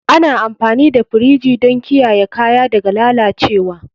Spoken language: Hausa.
Ana amfani da firji don kiyaye kaya daga lalacewa.